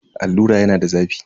Allura yana da zafi.